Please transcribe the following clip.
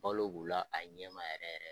Balo b'u la a ɲɛ ma yɛrɛ yɛrɛ.